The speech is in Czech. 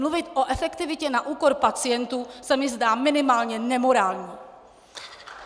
Mluvit o efektivitě na úkor pacientů se mi zdá minimálně nemorální!